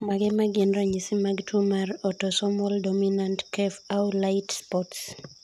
Mage magin ranyisi mag tuo mar Autosomal dominant caf au lait spots ?